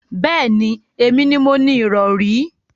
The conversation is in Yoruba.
Bẹẹni, èmi ni mo ni irọ̀rí